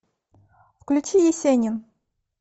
включи есенин